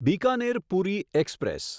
Bikaner Puri express